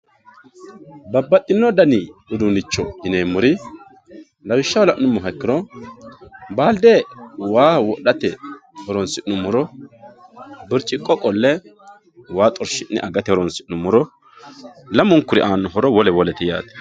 babbaxxino dani uduunnicho yineemmori lawishshaho la'nummoha ikkiro baalde waa wodhate horoonsi'nummoro birciqqo qolle waa xorshi'ne agate horoonsi'nummoro lamunkuri horo wole wolete yaate